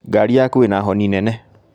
Ngari yaku ĩna honi nene